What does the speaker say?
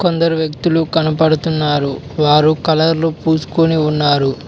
కొందరు వ్యక్తులు కనబడుతున్నారు వారు కలర్లు పూసుకుని ఉన్నారు.